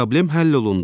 Problem həll olundu.